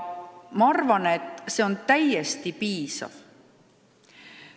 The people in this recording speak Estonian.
Ma arvan, et see on täiesti piisav.